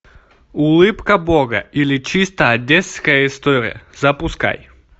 улыбка бога или чисто одесская история запускай